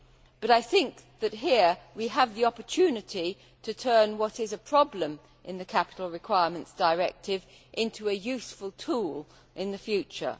But I think that here we have the opportunity to turn what is a problem in the Capital Requirements Directive into a useful tool in the future.